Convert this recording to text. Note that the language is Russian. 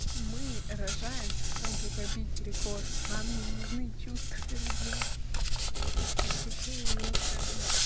мы рожаем чтобы побить рекорд нам не нужны чувства ребёнка господи какая я ужасная мать